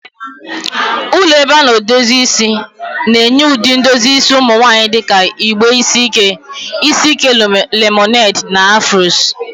Ụlọ ebe a na-edozi isi na-enye ụdị edozi isi ụmụ nwanyị dị ka igbe isi ike, isi ike lemoned, na Afros.